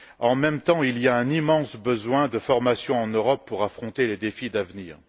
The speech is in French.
En même temps, il y a un immense besoin de formation en Europe pour affronter les défis d'avenir.